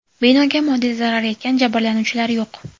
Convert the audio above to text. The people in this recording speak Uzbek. Binoga moddiy zarar yetgan, jabrlanuvchilar yo‘q.